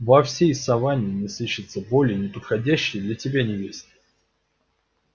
во всей саванне не сыщется более неподходящей для тебя невесты